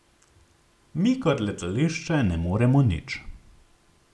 Mi kot letališče ne moremo nič.